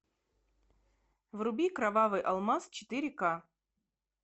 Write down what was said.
вруби кровавый алмаз четыре ка